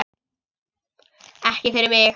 Ekki fyrir mig!